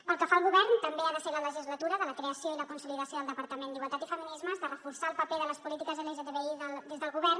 pel que fa al govern també ha de ser la legislatura de la creació i la consolidació del departament d’igualtat i feminismes de reforçar el paper de les polítiques lgtbi des del govern